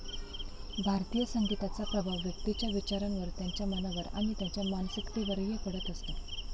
भारतीय संगीताचा प्रभाव व्यक्तीच्या विचारांवर, त्याच्या मनावर आणि त्याच्या मानसिकतेवरही पडत असतो.